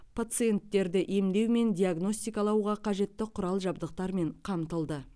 пациенттерді емдеу мен диагностикалауға қажетті құрал жабдықтармен қамтылды